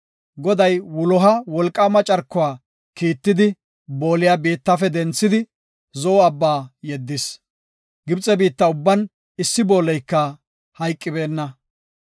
Goday wuloha wolqaama carkuwa kiittidi booliya biittafe denthidi, Zo7o Abba yeddis. Gibxe biitta ubban issi booleyka hayqibeenna.